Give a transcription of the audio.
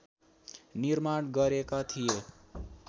निर्माण गरेका थिए